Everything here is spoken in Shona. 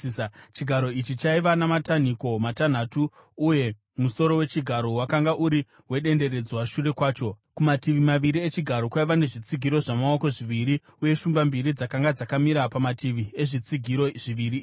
Chigaro ichi chaiva namatanhiko matanhatu, uye musoro wechigaro wakanga uri wedenderedzwa shure kwacho. Kumativi maviri echigaro kwaiva nezvitsigiro zvamaoko zviviri, uye shumba mbiri dzakanga dzakamira pamativi ezvitsigiro zviviri izvi.